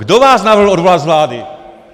Kdo vás navrhl odvolat z vlády?